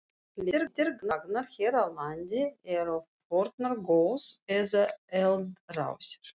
Flestir gangar hér á landi eru fornar gos- eða eldrásir.